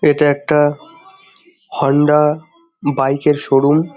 এটা একটা Honda bike এর শোরুম ।